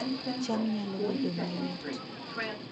cham nyalo bedo mayot